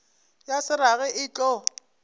ya se rage e tlo